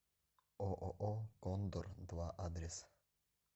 ооо кондор два адрес